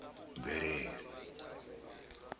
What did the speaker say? mvelele